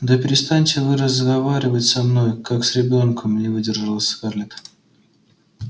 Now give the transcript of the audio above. да перестаньте вы разговаривать со мной как с ребёнком не выдержала скарлетт